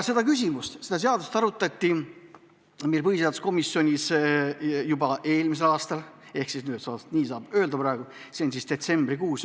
Seda eelnõu arutati põhiseaduskomisjonis eelmise aasta detsembrikuus.